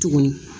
Tuguni